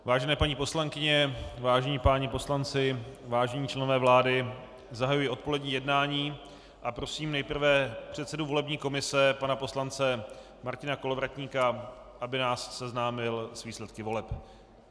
Vážené paní poslankyně, vážení páni poslanci, vážení členové vlády, zahajuji odpolední jednání a prosím nejprve předsedu volební komise pana poslance Martina Kolovratníka, aby nás seznámil s výsledky voleb.